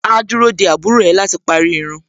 Áá dúró dé àbúrò ẹ̀ láti parí irun.